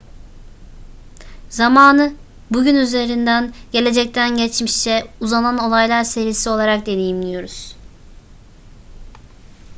zamanı bugün üzerinden gelecekten geçmişe uzanan olaylar serisi olarak deneyimliyoruz